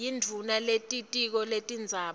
yindvuna yelitiko letindzaba